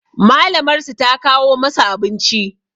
Malamar su ta kawo masu abinci